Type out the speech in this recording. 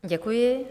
Děkuji.